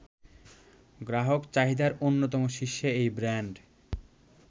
গ্রাহক চাহিদার অন্যতম শীর্ষে এই ব্র্যান্ড